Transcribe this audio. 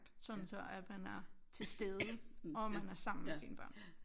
Sådan så at man er til stede og man er sammen med sine børn